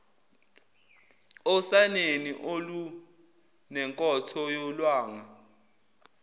osaneni olunenkotho yolwanga